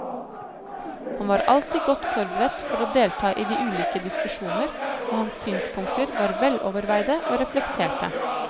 Han var alltid godt forberedt for å delta i de ulike diskusjoner, og hans synspunkter var veloverveide og reflekterte.